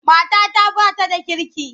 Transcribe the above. Matata ba ta da kirki.